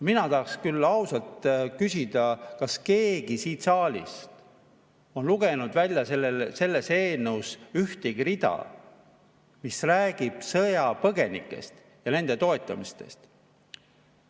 Mina tahaks küll ausalt küsida, kas keegi siin saalis on lugenud sellest eelnõust välja ühtegi rida, mis räägiks sõjapõgenikest ja nende toetamisest.